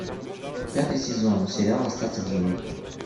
пятый сезон сериал остаться в живых